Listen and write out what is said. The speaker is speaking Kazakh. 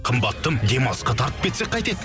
қымбаттым демалысқа тартып кетсек қайтеді